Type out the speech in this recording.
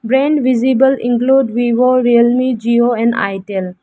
framed visible include vivo realme jio and itel.